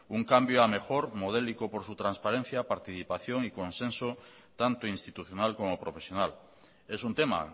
un cambio a mejor modélico por su transparencia participación y consenso tanto institucional como profesional es un tema